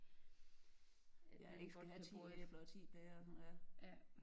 At man ikke skal have 10 æbler og 10 pærer og sådan noget ja